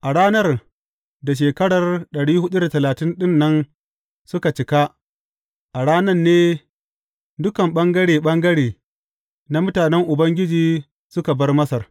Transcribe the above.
A ranar da shekara dari hudu da talatin ɗin nan suka cika, a ran nan ne dukan ɓangare ɓangare na mutanen Ubangiji suka bar Masar.